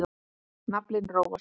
Naflinn róast.